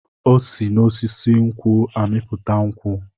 O si n'osisi nkwụ amịpụta nkwụ.